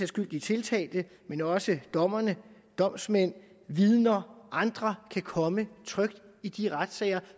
skyld de tiltalte men også dommerne domsmænd vidner og andre kan komme trygt i de retssale